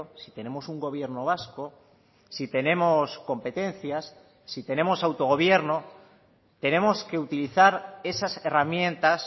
si tenemos un gobierno vasco si tenemos competencias si tenemos autogobierno tenemos que utilizar esas herramientas